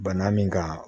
Bana min ka